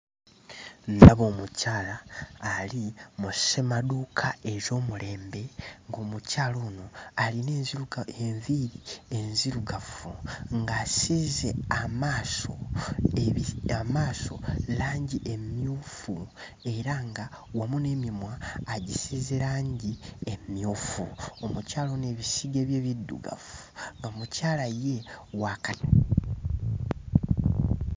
Ndaba omukyala ali mu ssemaduuka ez'omulembe ng'omukyala ono alina enziruka enviiri enzirugavu ng'asiize amaaso ebi amaaso langi emmyufu era nga wamu n'emimwa agisiize langi emmyufu. Omukyala ono ebisige bye biddugavu, omukyala ye wa ka...